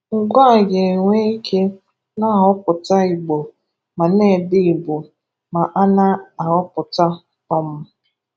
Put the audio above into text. Ngwa ga-enwe ìkè na-aghùpùtà Igbo ma na-ede Igbo ma a na-aghùpùtà. um